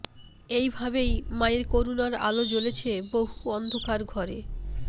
এই ভাবেই মায়ের করুণার আলো জ্বলেছে বহু অন্ধকার ঘরে